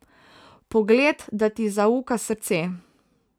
Pogled, da ti zauka srce.